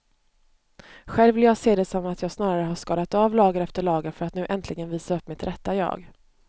Själv vill jag se det som att jag snarare har skalat av lager efter lager för att nu äntligen visa upp mitt rätta jag.